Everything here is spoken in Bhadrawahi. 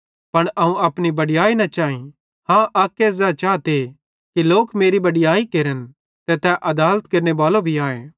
पन अवं अपनी बड़याई न चैई हाँ अक्के ज़ै चाते कि लोक मेरी बड़याई केरन ते तै आदालत केरनेबालो भी आए